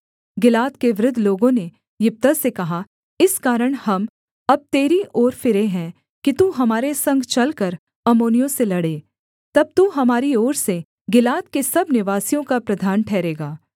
गिलाद के वृद्ध लोगों ने यिप्तह से कहा इस कारण हम अब तेरी ओर फिरे हैं कि तू हमारे संग चलकर अम्मोनियों से लड़े तब तू हमारी ओर से गिलाद के सब निवासियों का प्रधान ठहरेगा